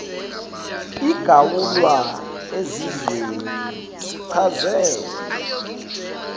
igawulwa ezizweni sichazele